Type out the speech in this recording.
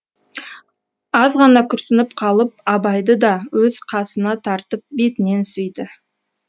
азғана күрсініп қалып абайды да өз қасына тартып бетінен сүйді